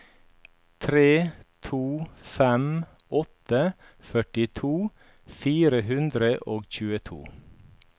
tre to fem åtte førtito fire hundre og tjueto